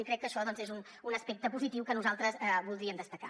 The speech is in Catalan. i crec que això és un aspecte positiu que nosaltres voldríem destacar